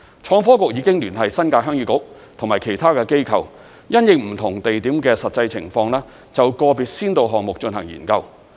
創科局已經聯繫新界鄉議局及其他機構，因應不同地點的實際情況，就個別先導項目進行研究。